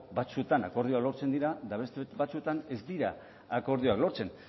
batzuetan akordioak lortzen dira eta beste batzuetan ez dira akordioak lortzen